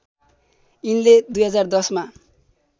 यिनले २०१० मा